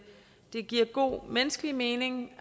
det giver god menneskelig mening